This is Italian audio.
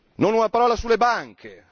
Non una parola sulle banche.